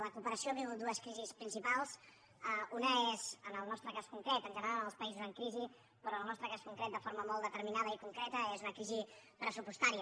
la cooperació viu dues crisis principals una és en el nostre cas concret en general als països en crisi però en el nostre cas concret de forma molt determinada i concreta una crisi pressupostària